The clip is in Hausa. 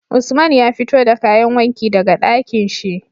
Usman ya fito da kayan wanki daka Ɗakinshi